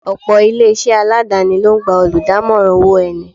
Ọ̀pọ̀ ilé-isé aladani ló ń gba oludamoran owó ẹni.